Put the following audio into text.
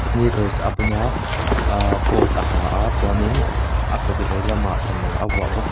sneakers a bun a ahh coat a ha a chuan in a kut veilamah sana a vuah bawk a.